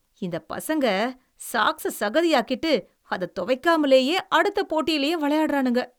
இந்தப் பசங்க, சாக்ஸ சகதியாக்கிட்டு அத துவைக்காமலேயே அடுத்த போட்டியிலே விளையாடுறானுங்க.